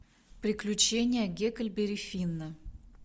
приключения гекльберри финна